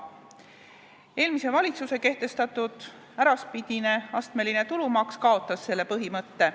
Eelmise valitsuse kehtestatud äraspidine astmeline tulumaks kaotas selle põhimõtte.